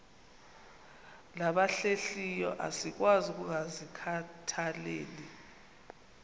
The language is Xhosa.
nabahlehliyo asikwazi ukungazikhathaieli